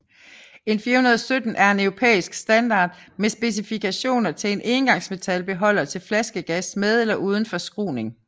EN 417 er en Europæisk standard med specifikationer til en engangsmetalbeholder til flaskegas med eller uden forskruning